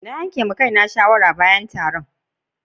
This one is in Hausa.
Na yi ma Kai na shawara yin kwandishan bayan da na yi horo.